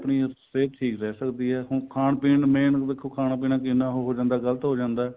ਆਪਣੀ ਹਰੇਕ ਚੀਜ਼ ਰਹਿ ਸਕਦੀ ਏ ਹੁਣ ਖਾਣ ਪੀਣ main ਦੇਖੋ ਖਾਣਾ ਪੀਣਾ ਕਿੰਨਾ ਹੋ ਜਾਂਦਾ ਗਲਤ ਹੋ ਜਾਂਦਾ